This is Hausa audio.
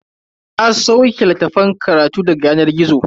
Na sauke littafan karatu daga yanar gizo.